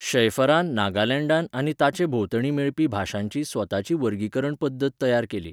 शैफरान नागालँडांत आनी ताचे भोंवतणी मेळपी भाशांची स्वताची वर्गीकरण पद्दत तयार केली.